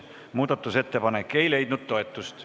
Muudatusettepanek ei leidnud toetust.